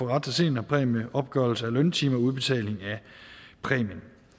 har ret til seniorpræmie opgørelse af løntimer og udbetaling af præmien